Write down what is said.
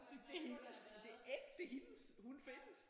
Sådan det er hendes det er ægte hendes hun findes!